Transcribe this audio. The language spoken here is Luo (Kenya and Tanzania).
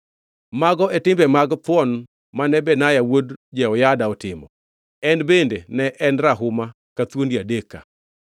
Mago e timbe mag thuon mane Benaya wuod Jehoyada otimo, en bende ne en rahuma ka thuondi adek ka.